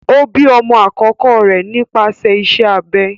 O bi ọmọ akọkọ rẹ nípasẹ iṣẹ abẹ